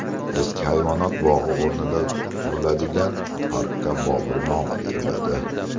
Eski hayvonot bog‘i o‘rnida quriladigan parkka Bobur nomi beriladi.